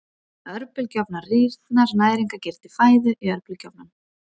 Örbylgjuofnar Rýrnar næringargildi fæðu í örbylgjuofnum?